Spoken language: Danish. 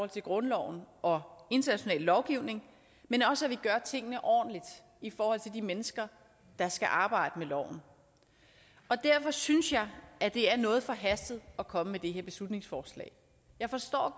til grundloven og international lovgivning men også at vi gør tingene ordentligt i forhold til de mennesker der skal arbejde med loven derfor synes jeg at det er noget forhastet at komme med det her beslutningsforslag jeg forstår